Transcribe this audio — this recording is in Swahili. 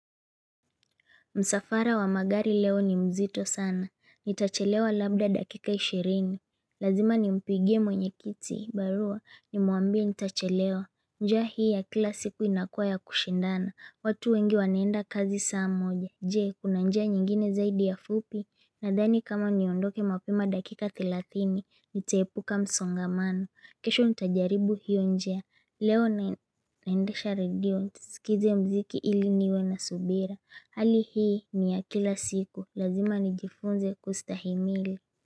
Msafara wa magari leo ni mzito sana, nitachelewa labda dakika ishirini, lazima nimpigie mwenye kiti, barua, nimuambie nitachelewa, njia hii ya kila siku inakua ya kushindana, watu wengi wanenda kazi saa moja, jee kuna njia nyingine zaidi ya fupi, nadhani kama niondoke mapema dakika thelathini, nitaepuka msongamano, kesho ntajaribu hiyo njia, leo naendesha redio, nisikize mziki ili niwe na subira Ali hii ya kila siku la zima nijifunze kustahimili.